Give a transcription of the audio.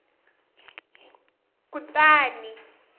kutani